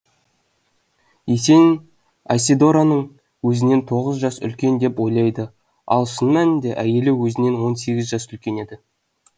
есенин айседораны өзінен тоғыз жас үлкен деп ойлайды ал шын мәнінде әйелі өзінен он сегіз жас үлкен еді